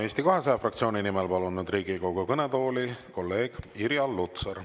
Eesti 200 fraktsiooni nimel palun Riigikogu kõnetooli kolleeg Irja Lutsari.